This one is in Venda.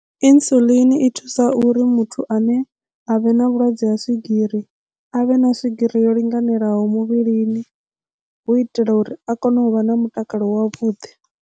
Insulin i thusa uri muthu ane avha na vhulwadze ha swigiri avhe na swigiri yo linganelaho muvhilini hu itela uri a kone u vha na mutakalo wavhuḓi.